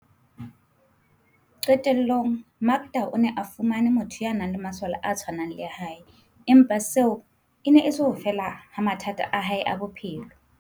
Qe tellong, Makda o ne a fumane motho ya nang le masole a tshwanang le a hae, empa seo e ne e se ho fela ha mathata a hae a bophelo.